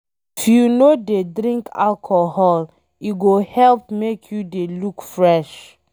If you no dey drink alcohol, e go help make you dey look fresh